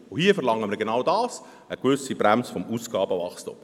Hier verlangen wir genau dies, eine gewisse Bremse des Ausgabenwachstums.